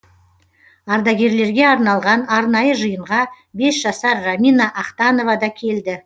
ардагерлерге арналған арнайы жиынға бес жасар рамина ахтанова да келді